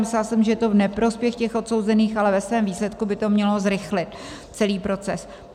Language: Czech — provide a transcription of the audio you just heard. Myslela jsem, že je to v neprospěch těch odsouzených, ale ve svém výsledku by to mělo zrychlit celý proces.